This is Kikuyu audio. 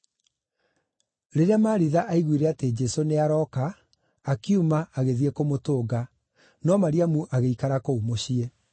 Rĩrĩa Maritha aiguire atĩ Jesũ nĩarooka, akiuma, agĩthiĩ kũmũtũnga, no Mariamu agĩikara kũu mũciĩ.